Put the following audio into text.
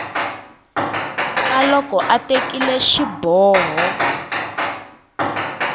ka loko a tekile xiboho